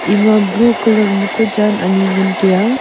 ema blue colour ma ku jan anyi ngan tiya.